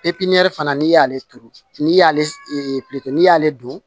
fana n'i y'ale turu n'i y'ale n'i y'ale don